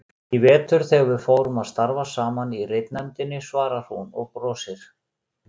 Í vetur þegar við fórum að starfa saman í ritnefndinni, svarar hún og brosir.